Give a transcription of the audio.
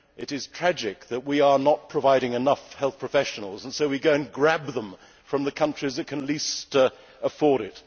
It is tragic that we are not providing enough health professionals but go and grab them from the countries that can least afford